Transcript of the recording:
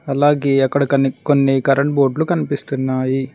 అలాగే అక్కడ కన్నీ కొన్ని కరెంటు బోర్డులు కనిపిస్తున్నాయి.